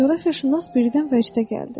Coğrafiyaşünas birdən vəcdə gəldi.